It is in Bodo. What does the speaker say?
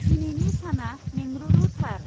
दिनैनि साना मेंरुरुथार।